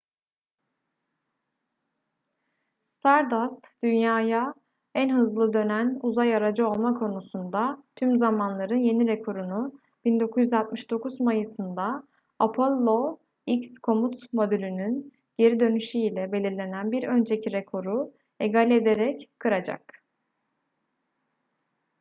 stardust dünya'ya en hızlı dönen uzay aracı olma konusunda tüm zamanların yeni rekorunu 1969 mayıs'ında apollo x komut modülünün geri dönüşü ile belirlenen bir önceki rekoru egale ederek kıracak